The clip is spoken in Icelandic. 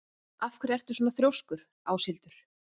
Af hverju ertu svona þrjóskur, Áshildur?